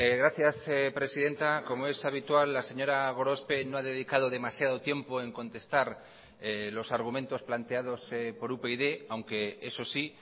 gracias presidenta como es habitual la señora gorospe no ha dedicado demasiado tiempo en contestar los argumentos planteados por upyd aunque eso sí